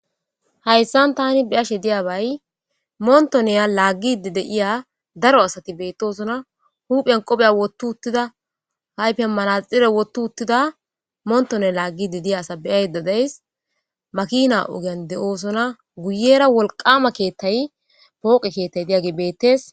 Haysan tan be'ashe diyabay motoniya lagidi de'iya daro asati betosona huphan qofeya woti utida ayfan maxire wothi utida motone lagidi diza asa be'ayda days makina ogan de'osona guyera wolqama ketay poqe ketay diyadey betes